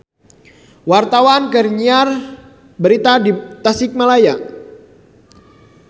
Wartawan keur nyiar berita di Tasikmalaya